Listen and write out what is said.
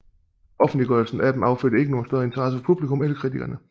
Offentliggørelsen af dem affødte ikke nogen større interesse fra publikum eller kritikerne